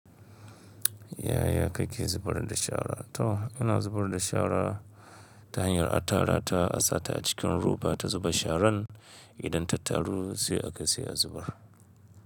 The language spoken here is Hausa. Yaya kake zubar da shara? To, ina zubar da shara ta hanyar a tara ta, a sa ta a cikin roba ta zuba sharan. Idan ta taru sai akai sai a zubar.